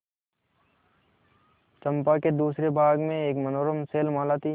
चंपा के दूसरे भाग में एक मनोरम शैलमाला थी